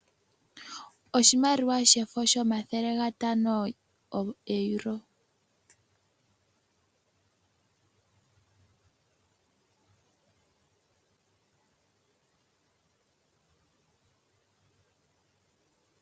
Oshimaliwa shefo shomathele gatano goEuro.